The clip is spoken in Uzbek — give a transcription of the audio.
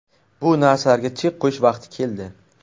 Bu narsalarga chek qo‘yish vaqti keldi.